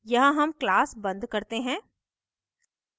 यहाँ हम class बंद करते हैं